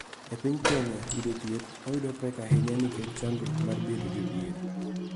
E piny Kenya, yudo thieth oyudo pek ahinya nikech chandruok mar bedo jodhier.